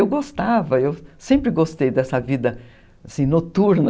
Eu gostava, eu sempre gostei dessa vida, assim, noturna.